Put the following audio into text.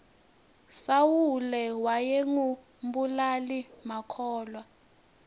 sawule wayengu mbulali makhulwa